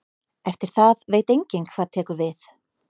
Eftir það veit enginn hvað tekur við.